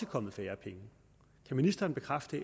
kommet færre penge kan ministeren bekræfte